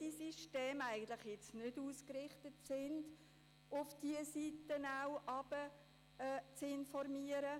Beide Systeme sind nicht darauf ausgerichtet, auch gegen unten zu informieren.